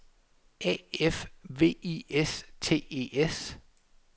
A F V I S T E S